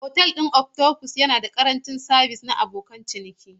Otal ɗin Octopus kano yana da ƙarancin sabis na abokin ciniki.